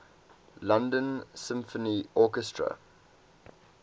london symphony orchestra